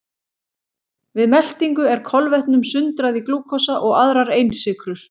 Við meltingu er kolvetnum sundrað í glúkósa og aðrar einsykrur.